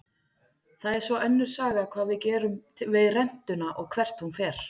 Það er svo önnur saga hvað við gerum við rentuna og hvert hún fer.